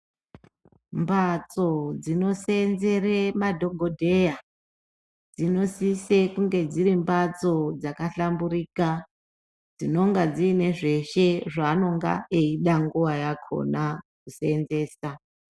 Mbatso dzino senzere madhokodheya dzino sise kunge dziri mbatso dzaka hlamburika dzinonga dzine zveshe zvaanonga eyida nguva yakona ku senzesa.